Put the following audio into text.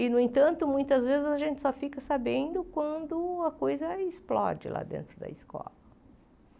E, no entanto, muitas vezes a gente só fica sabendo quando a coisa explode lá dentro da escola.